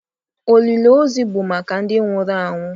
Olili ozu bụ maka ndị nwụrụ anwụ